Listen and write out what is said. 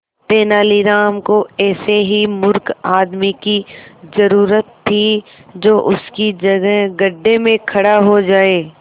तेनालीराम को ऐसे ही मूर्ख आदमी की जरूरत थी जो उसकी जगह गड्ढे में खड़ा हो जाए